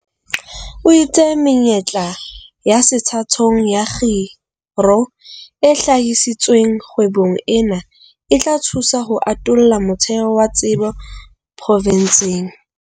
O itse menyetla ya sethathong ya kgiro e hlahisitsweng kgwebong ena e tla thusa ho atolla motheo wa tsebo profenseng.